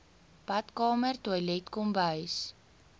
badkamer toilet kombuis